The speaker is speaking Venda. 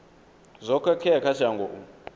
zwo khakhea kha shango u